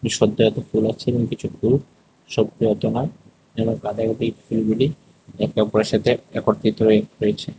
সব জায়গাতে ফুল আছে এবং কিছু ফুল একে অপরের সাথে একত্রিত হয়ে রয়েছে।